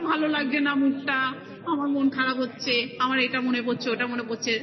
লাগছে না mood টা. আমার মন খারাপ হচ্ছে. আমার এটা মনে পড়ছে. ওটা মনে পরছে